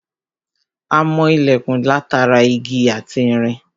A mọ ilẹ̀kùn látara igi ati irin